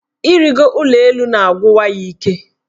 Ịrịgo ụlọelu na-agwụwa ya ike.